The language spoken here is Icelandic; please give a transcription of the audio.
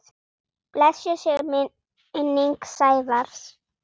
Blessuð sé minning Sævars.